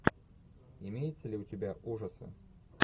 имеется ли у тебя ужасы